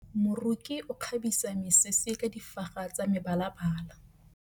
Moroki o kgabisa mesese ka difaga tsa mebalabala.